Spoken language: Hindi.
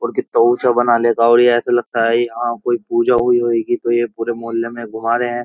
और कितना ऊंचा बना ऐसा लगता है। यहां पे पूजा हुई है तो पुरे मोहल्ले में रहे है।